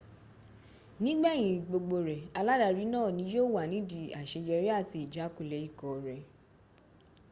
nígbẹ̀yìn gbogbo rẹ̀ aládarí náà ní yíó wà nídìí àseyọrí àti ìjákulẹ̀ ikọ̀ rẹ